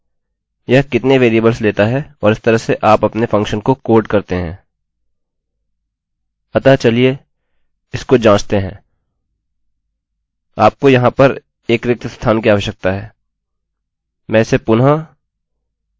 अतः चलिए इसको जाँचते हैं आपको यहाँ पर एक रिक्त स्थान कि आवश्यकता है मैं इसे पुनः alex19 में बदल सकता हूँ और रिफ्रेशrefreshकरें तो आपको मिल गया